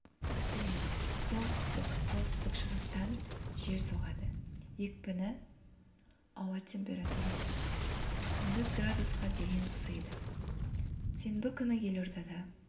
күтіледі солтүстік солтүстік-шығыстан жел соғады екпіні ауа температурасы күндіз градусқа дейін ысыйды сенбі күні елордада